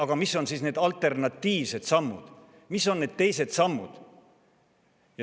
Kuid mis on need alternatiivsed sammud, mis on need teised sammud?